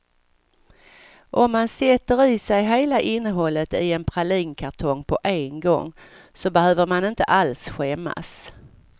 Om man sätter i sig hela innehållet i en pralinkartong på en gång så behöver man inte alls skämmas.